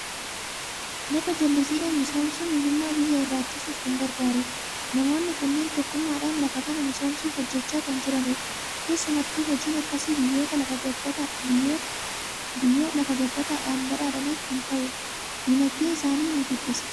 Lafa jallisiidhaan misoomsuun hiyyummaa biyya irraa ittisuuf kan gargaarudha. Namoonni kunneen tokkummaadhaan lafa kana misoomsuuf hojjechaa kan jiranidha. Keessumattuu hojiin akkasii biyyoota lafa gabbataadhaan badhaadhaniif kan ta'udha. Dinagdee isaanii ni guddisa.